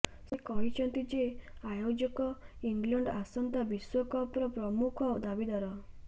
ସେ କହିଛନ୍ତି ଯେ ଆୟୋଜକ ଇଂଲଣ୍ଡ ଆସନ୍ତା ବିଶ୍ବକପ୍ର ପ୍ରମୁଖ ଦାବିଦାର